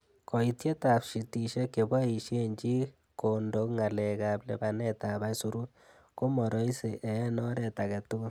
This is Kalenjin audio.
Koitietab shitishek cheboishen chi kondo ngalekab lipanet ab aisurut, ko mo roisi en oret agetugul.